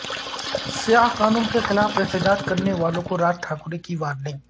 سیاہ قانون کیخلاف احتجاج کرنے والوں کو راج ٹھاکرے کی وارننگ